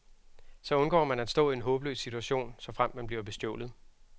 Så undgår man at stå i en håbløs situation, såfremt man bliver bestjålet.